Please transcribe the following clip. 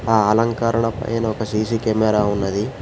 ఆ అలంకరణ పైన ఒక సీసీ కెమెరా ఉన్నది.